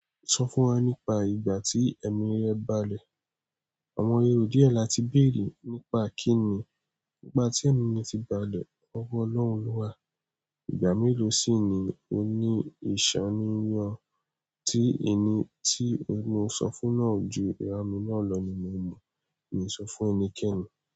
Sọ fún wa nípa ìgbà tí ẹ̀mí rẹ balẹ̀. Àwọn èrò díẹ̀ láti béèrè nípa kín ní ìgbà tí ẹ̀mí mi ti balẹ̀, ọwọ́ Ọlọ́run wà. Ìgbà mélòó sì ni ó ní ìṣánníyan tí ẹni tí mo ń sọ fún náà ju ìrá mi náà lọ nínú mo ma? N sọ fún ẹnikẹ́ni.